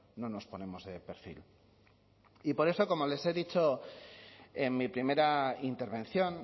no nos ponemos de perfil y por eso como les he dicho en mi primera intervención